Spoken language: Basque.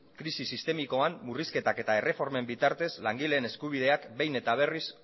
krisi sistemikoan murrizketak eta erreformen bitartez langileen eskubideak behin eta berriz